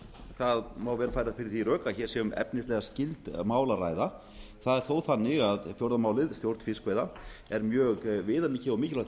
það má vel færa fyrir því rök að hér sé um efnislega skyld mál að ræða það er þó þannig að fjórða málið stjórn fiskveiða er mjög viðamikið og mikilvægt